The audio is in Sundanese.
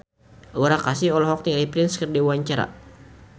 Aura Kasih olohok ningali Prince keur diwawancara